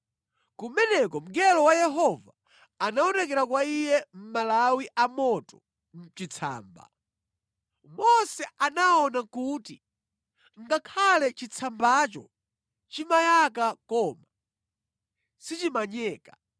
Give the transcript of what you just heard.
Kumeneko mngelo wa Yehova anaonekera kwa iye mʼmalawi amoto mʼchitsamba. Mose anaona kuti ngakhale chitsambacho chimayaka koma sichimanyeka.